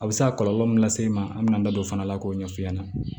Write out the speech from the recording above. A bɛ se ka kɔlɔlɔ min lase i ma an bɛna an da don o fana la k'o ɲɛf'u ɲɛna